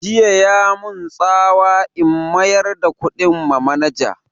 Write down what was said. Jiya ya mun tsawa in mayar da kuɗin ma manaja